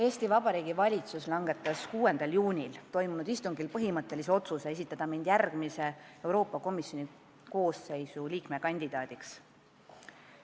Eesti Vabariigi valitsus langetas 6. juunil toimunud istungil põhimõttelise otsuse esitada mind järgmise Euroopa Komisjoni koosseisu liikme kandidaadiks.